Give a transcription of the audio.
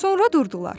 Sonra durdular.